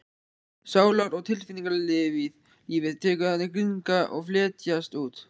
Sálar- og tilfinningalífið tekur að grynnka og fletjast út.